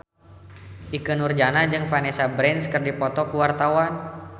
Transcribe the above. Ikke Nurjanah jeung Vanessa Branch keur dipoto ku wartawan